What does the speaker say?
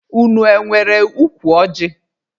Unu enwere ukwu ọjị?